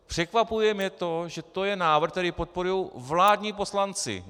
Překvapuje mě to, že to je návrh, který podporují vládní poslanci.